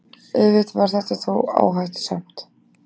Auðvitað var þetta þó áhættusamt.